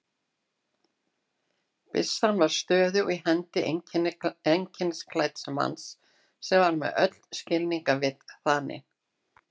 Byssan var stöðug í hendi einkennisklædds manns sem var með öll skilningarvit þanin.